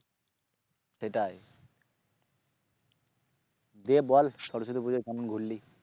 সেটাই দিয়ে বল সরস্বতী পুজোয় কেমন ঘুরলি?